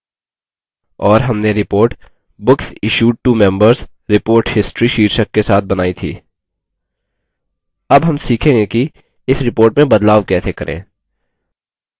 और हमने report books issued to members: report history शीर्षक के साथ बनाई थी अब हम सीखेंगे कि इस report में बदलाव कैसे करें